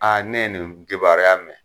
ne ye nin kibaruya mɛ.